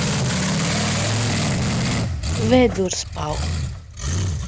Sagði síðan: Ætli uppskafningur þorni vel í slíku veðri sem þessu?